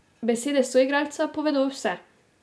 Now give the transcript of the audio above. Besede soigralca povedo vse ...